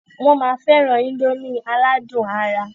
Wọn má féràn índòmí aládùn àrà.